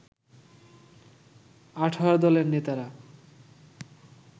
১৮ দলের নেতারা